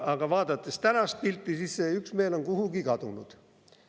Aga vaadates tänast pilti, on see üksmeel kuhugi kadunud.